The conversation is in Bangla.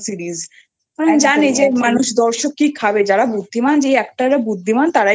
Series জানে যে মানুষ দর্শক কি খাবে যারা বুদ্ধিমান যে actor রা বুদ্ধিমান